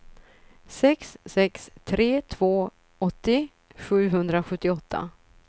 sex sex tre två åttio sjuhundrasjuttioåtta